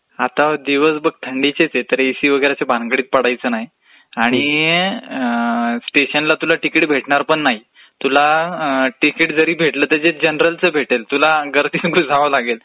आता दिवसं बघ थंडीचेच आहेत, तर एसी वगैरेच्या भानगडीत पडायचं नाही आणि अअअं....स्टेशनला तुला तिकीट भेटणार पण नाही, तुला तिकीट जरी भेटलं तरी ते जनरलचं भेटेल, तुला गर्दीमधूनचं जावं लागेल.